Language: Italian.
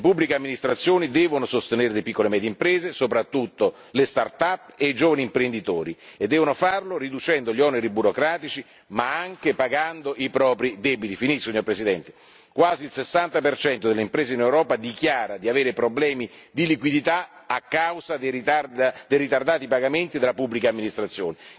Le pubbliche amministrazioni devono sostenere le piccole e medie imprese, soprattutto le startup e i giovani imprenditori, e devono farlo riducendo gli oneri burocratici ma anche pagando i propri debiti quasi il 60 delle imprese in Europa dichiara di avere problemi di liquidità a causa dei ritardati pagamenti della pubblica amministrazione.